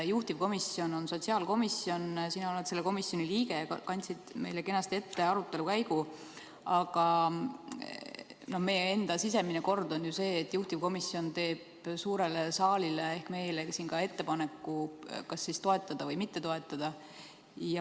Juhtivkomisjon on sotsiaalkomisjon, sina oled selle komisjoni liige, kandsid meile kenasti ette arutelu käigu, aga meie enda sisemine kord on ju see, et juhtivkomisjon teeb suurele saalile ehk meile siin ettepaneku kas toetada või mitte toetada.